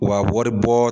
Wa wari bɔ